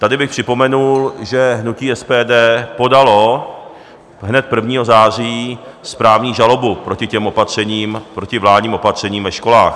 Tady bych připomenul, že hnutí SPD podalo hned 1. září správní žalobu proti těm opatřením, proti vládním opatřením ve školách.